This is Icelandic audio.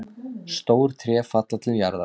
Stór tré falla til jarðar.